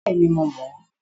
Bẹ́ẹ̀ni, mo mọ̀ ọ́